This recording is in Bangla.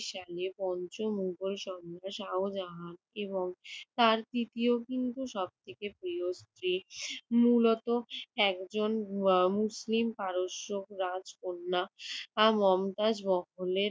সাল পঞ্চম উভয়ই সম্রাট শাহজাহান এবং তার তৃতীয় কিন্তু সবথেকে প্রিয় স্ত্রী মূলত একজন মুসলিম পারস্য রাজকন্যা আর মমতাজ মহলের